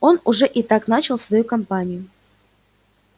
он уже и так начал свою кампанию